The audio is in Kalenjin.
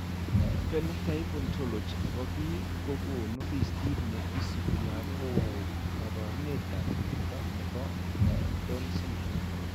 Phenotype Ontology ne po biik ko konu listiit ne isubiap kaabarunetap mnyando ne po Down syndrome.